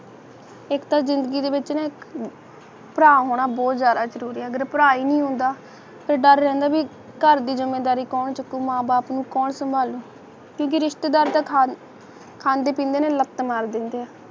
ਇਕ ਤਾ ਜ਼ਿੰਦਗੀ ਦੇ ਵਿੱਚ ਨਾ ਇਕ ਅਹ ਭਰਾ ਹੋਣਾ ਬਹੁਤ ਜਾਦਾ ਜ਼ਰੂਰੀ ਹੈ ਅਗਰ ਭਰਾ ਹੀ ਨਹੀਂ ਹੁੰਦਾ ਤੇ ਡਰ ਰਹਿੰਦਾ ਬਇ ਘਰ ਦੀ ਜ਼ਿਮੇਂਦਾਰੀ ਕੌਣ ਚੁੱਕੂ ਮਾਂ ਬਾਪ ਨੂੰ ਕੌਣ ਸੰਭਾਲੂ ਕਿਉ ਕਿ ਰਿਸ਼ਤੇਦਾਰ ਤੇ ਖਾਂਦੇ ਪੀਂਦੇ ਨੇ ਲੱਤ ਮਾਰ ਦੇਂਦੇ ਨੇ